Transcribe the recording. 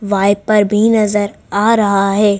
Wiper भी नजर आ रहा है।